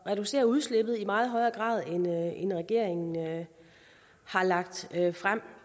reducere udslippet i meget højere grad end regeringen har lagt frem